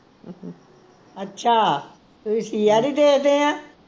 ਅੱਛਾ ਤੁਸੀ CID ਦੇਖਦੇ ਆਂ